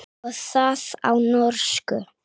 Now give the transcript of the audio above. Og það á norsku.